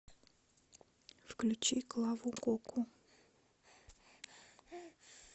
включи клаву коку